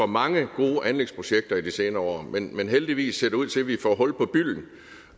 mange gode anlægsprojekter i de senere år men heldigvis ser det ud til at vi får hul på bylden